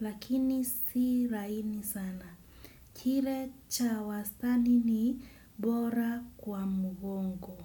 Lakini si laini sana. Kile cha wastani ni bora kwa mgongo.